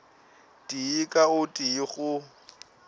tee ka o tee go